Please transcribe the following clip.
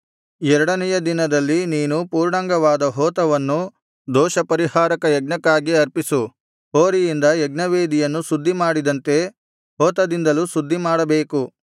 ಎರಡನೆಯ ದಿನದಲ್ಲಿ ನೀನು ಪೂರ್ಣಾಂಗವಾದ ಹೋತವನ್ನು ದೋಷ ಪರಿಹಾರಕಯಜ್ಞಕ್ಕಾಗಿ ಅರ್ಪಿಸು ಹೋರಿಯಿಂದ ಯಜ್ಞವೇದಿಯನ್ನು ಶುದ್ಧಿಮಾಡಿದಂತೆ ಹೋತದಿಂದಲೂ ಶುದ್ಧಿಮಾಡಬೇಕು